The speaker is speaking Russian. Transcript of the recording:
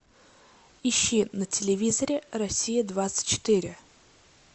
ищи на телевизоре россия двадцать четыре